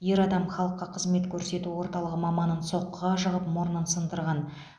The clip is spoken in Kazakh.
ер адам халыққа қызмет көрсету орталығы маманын соққыға жығып мұрнын сындырған